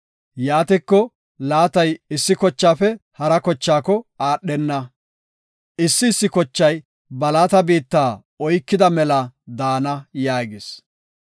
Yaatiko, laatay issi kochaafe hara kochaako aadhenna. Issi issi kochay ba laata biitta oykida mela daana” yaagis.